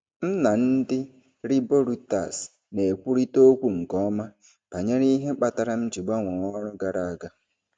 M na ndị riboruiters na-ekwurịta okwu nke ọma banyere ihe kpatara m ji gbanwee ọrụ gara aga.